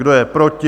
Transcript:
Kdo je proti?